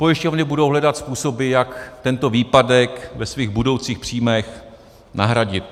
Pojišťovny budou hledat způsoby, jak tento výpadek ve svých budoucích příjmech nahradit.